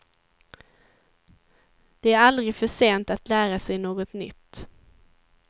Det är aldrig för sent att lära sig något nytt.